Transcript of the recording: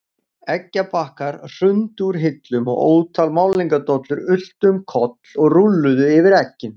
Eggjabakkar hrundu úr hillum og ótal málningardollur ultu um koll og rúlluðu yfir eggin.